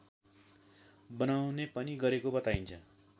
बनाउने पनि गरेको बताइन्छ